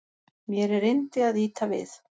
Mér er yndi að ýta við